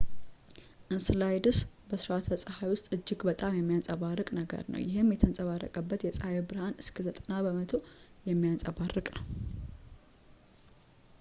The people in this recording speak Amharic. እንስላደስ በስራአተ-ፀሐይ ውስጥ እጅግ በጣም የሚያንፀባርቅ ነገር ነው ፣ ይህም የተንጸባረቀበትን የጸሃይ ብርሃን እስከ 90 በመቶ የሚያንፀባርቅ ነው